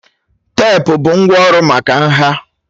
Teepu bụ ngwá ọrụ maka nha